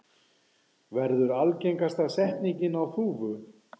verður algengasta setningin á Þúfu.